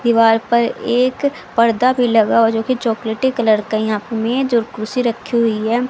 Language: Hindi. दीवार पर एक पर्दा भी लगा हुआ जो कि चॉकलेटी कलर का है यहां पे मेज और कुर्सी रखी हुई है।